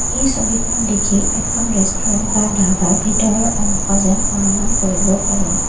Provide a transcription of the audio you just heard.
এই ছবিখন দেখি এখন ৰেষ্টোৰেণ্ট বা ধাবাৰ ভিতৰৰ অংশ যেন অনুমান কৰিব পাৰি।